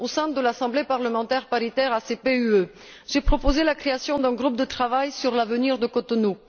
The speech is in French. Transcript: Au sein de l'Assemblée parlementaire paritaire ACP UE, j'ai proposé la création d'un groupe de travail sur l'avenir de Cotonou.